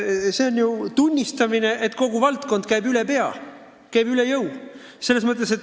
See on ju tunnistamine, et kogu valdkond käib üle jõu.